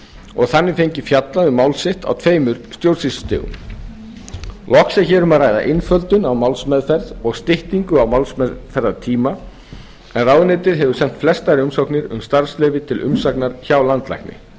og þannig fengið fjallað um mál sitt á tveimur stjórnsýslustigum loks er hér um að ræða einföldun á málsmeðferð og styttingu málsmeðferðartíma en ráðuneytið hefur sent flestar umsóknir um starfsleyfi til umsagnar hjá landlækni